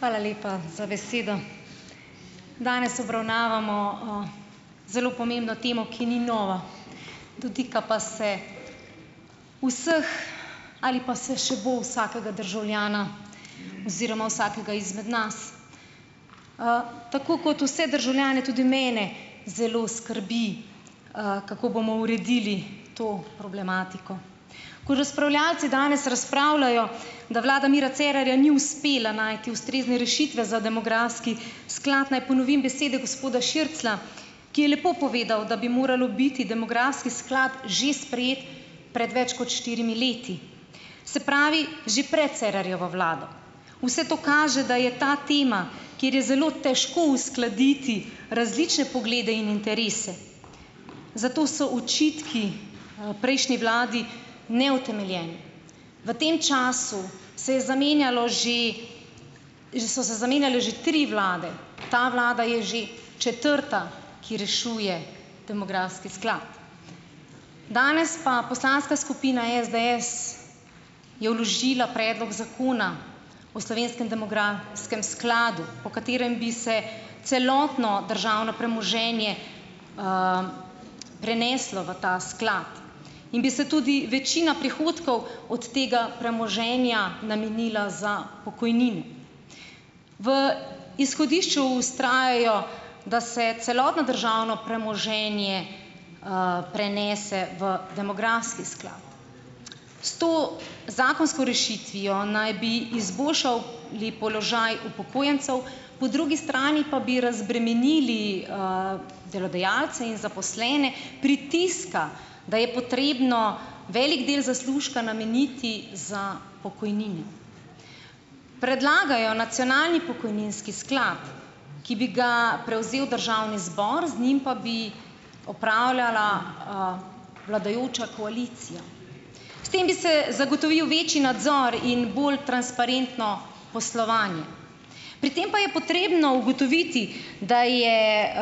Hvala lepa za besedo. Danes obravnavamo, zelo pomembno temo, ki ni nova, dotika pa se vseh ali pa se še bo vsakega državljana oziroma vsakega izmed nas, tako kot vse državljane tudi mene zelo skrbi, kako bomo uredili to problematiko, ko razpravljavci danes razpravljajo, da vlada Mira Cerarja ni uspela najti ustrezne rešitve za demografski sklad. Naj ponovim besede gospoda Širclja, ki je lepo povedal, da bi moral biti demografski sklad že sprejet pred več kot štirimi leti, se pravi, že pred Cerarjevo vlado, vse to kaže, da je ta tema, kjer je zelo težko uskladiti različne poglede in interese, zato so očitki, prejšnji vladi neutemeljeni. V tem času se je zamenjalo že, že so se zamenjale že tri vlade, ta vlada je že četrta, ki rešuje demografski sklad, danes pa poslanska skupina SDS je vložila predlog zakona o slovenskem demografskem skladu, po katerem bi se celotno državno premoženje, preneslo v ta sklad in bi se tudi večina prihodkov od tega premoženja namenila za pokojnine. V izhodišču vztrajajo, da se celotno državno premoženje, prenese v demografski sklad, s to zakonsko rešitvijo naj bi izboljšali položaj upokojencev, po drugi strani pa bi razbremenili, delodajalce in zaposlene pritiska, da je potrebno velik del zaslužka nameniti za pokojnine. Predlagajo nacionalni pokojninski sklad ki bi ga prevzel državni zbor, z njim pa bi upravljala, vladajoča koalicija, s tem bi se zagotovil večji nadzor in bolj transparentno poslovanje, pri tem pa je potrebno ugotoviti, da je,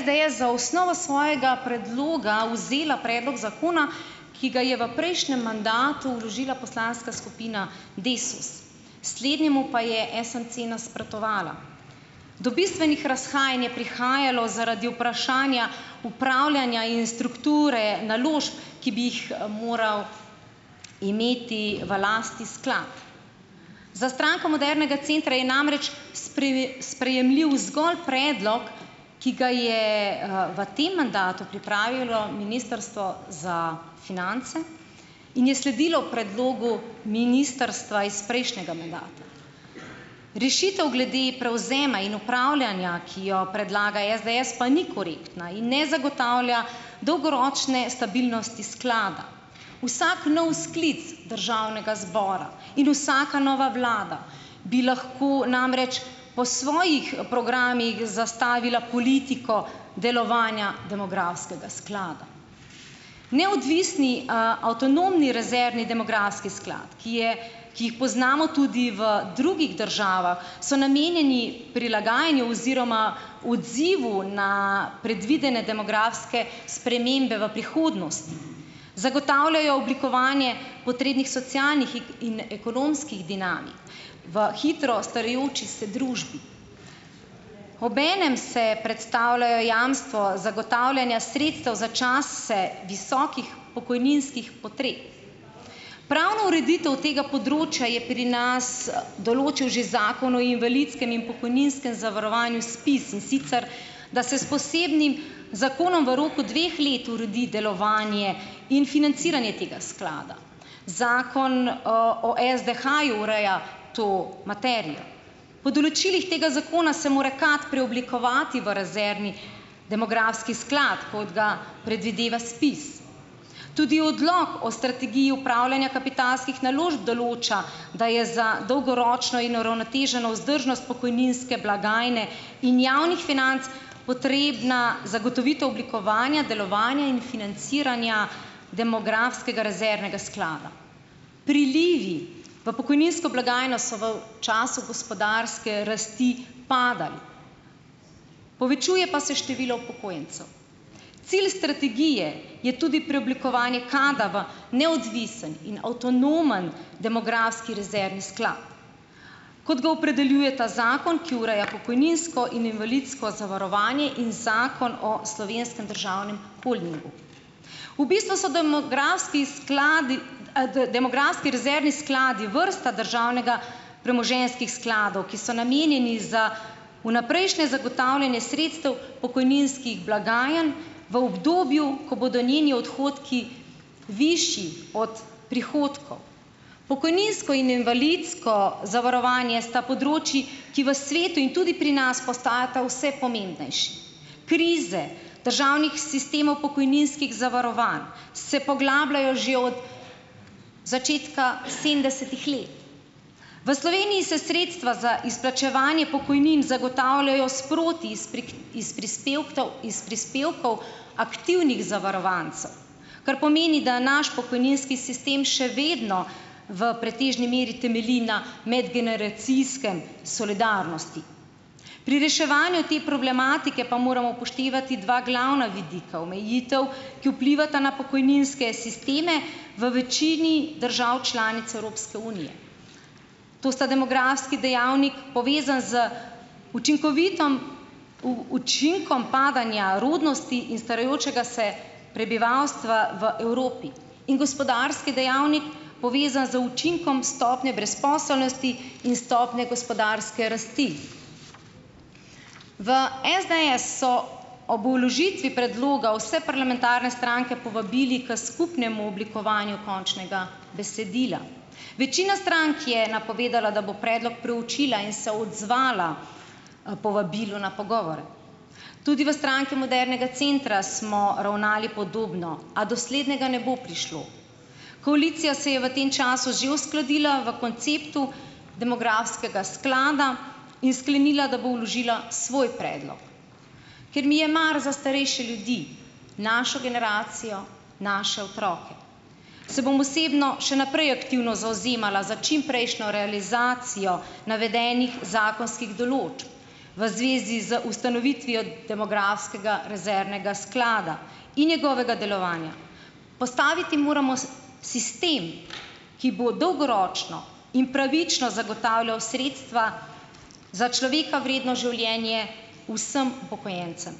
SDS za osnovo svojega predloga vzela predlog zakona, ki ga je v prejšnjem mandatu vložila poslanska skupina Desus, slednjemu pa je SMC nasprotovala do bistvenih razhajanj je prihajalo zaradi vprašanja upravljanja in strukture naložb, ki bi jih moral imeti v lasti sklad. Za Stranko modernega centra je namreč sprejemljiv zgolj predlog, ki ga je, v tem mandatu pripravilo ministrstvo za finance in je sledilo predlogu ministrstva iz prejšnjega mandata. Rešitev glede prevzema in upravljanja, ki jo predlaga SDS, pa ni korektna in ne zagotavlja dolgoročne stabilnosti sklada. Vsak nov sklic državnega zbora in vsaka nova vlada bi lahko namreč po svojih programih zastavila politiko delovanja demografskega sklada. Neodvisni, a avtonomni rezervni demografski sklad, ki je, ki jih poznamo tudi v drugih državah, so namenjeni prilagajanju oziroma odzivu na predvidene demografske spremembe v prihodnosti, zagotavljajo oblikovanje potrebnih socialnih in ekonomskih dinamik v hitro starajoči se družbi, obenem se predstavljajo jamstvo zagotavljanja sredstev za čase visokih pokojninskih potreb. Pravno ureditev tega področja je pri nas, določil že zakon o invalidskem in pokojninskem zavarovanju ZPIZ, in sicer da se s posebnim zakonom v roku dveh let uredi delovanje in financiranje tega sklada, zakon o o SDH-ju ureja to materijo, po določilih tega zakona se mora KAD preoblikovati v rezervni demografski sklad, kot ga predvideva ZPIZ, tudi odlok o strategiji upravljanja kapitalskih naložb določa, da je za dolgoročno in uravnoteženo vzdržnost pokojninske blagajne in javnih financ potrebna zagotovitev oblikovanja delovanja in financiranja demografskega rezervnega sklada. Prilivi v pokojninsko blagajno so v času gospodarske rasti padali, povečuje pa se število upokojencev. Cilj strategije je tudi preoblikovanje KAD-a v neodvisen in avtonomen demografski rezervni sklad, kot ga opredeljuje ta zakon, ki ureja pokojninsko in invalidsko zavarovanje, in zakon o slovenskem državnem holdingu, v bistvu so demografski skladi, demografski rezervni skladi vrsta državnega premoženjskih skladov, ki so namenjeni za vnaprejšnje zagotavljanje sredstev pokojninskih blagajn v obdobju, ko bodo njeni odhodki višji od prihodkov. Pokojninsko in invalidsko zavarovanje sta področji, ki v svetu in tudi pri nas postajata vse pomembnejši, krize državnih sistemov pokojninskih zavarovanj se poglabljajo že od začetka sedemdesetih let. V Sloveniji se sredstva za izplačevanje pokojnin zagotavljajo sproti iz prispevkov, iz prispevkov aktivnih zavarovancev, kar pomeni, da je naš pokojninski sistem še vedno v pretežni meri temelji na medgeneracijski solidarnosti, pri reševanju te problematike pa moramo upoštevati dva glavna vidika omejitev, ki vplivata na pokojninske sisteme v večini držav članic Evropske unije, to sta demografski dejavnik, povezan z učinkovitom učinkom padanja rodnosti in starajočega se prebivalstva v Evropi, in gospodarski dejavnik, povezan z učinkom stopnje brezposelnosti in stopnje gospodarske rasti. V SDS so ob vložitvi predloga vse parlamentarne stranke povabili k skupnemu oblikovanju končnega besedila, večina strank je napovedala, da bo predlog preučila in se odzvala, povabilu na pogovore, tudi v Stranki modernega centra smo ravnali podobno, a do slednjega ne bo prišlo, koalicija se je v tem času že uskladila v konceptu demografskega sklada in sklenila, da bo vložila svoj predlog. Ker mi je mar za starejše ljudi, našo generacijo, naše otroke se bom osebno še naprej aktivno zavzemala za čimprejšnjo realizacijo navedenih zakonskih določb v zvezi z ustanovitvijo demografskega rezervnega sklada in njegovega delovanja. Postaviti moramo sistem, ki bo dolgoročno in pravično zagotavljal sredstva za človeka vredno življenje vsem upokojencem.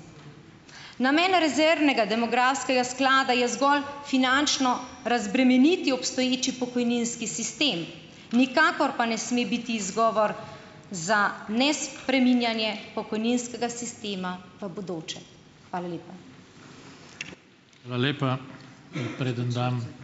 Namen rezervnega demografskega sklada je zgolj finančno razbremeniti obstoječi pokojninski sistem, nikakor pa ne sme biti izgovor za nespreminjanje pokojninskega sistema v bodoče. Hvala lepa. Hvala lepa.